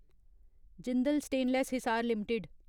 Jindal Stainless Hisar limited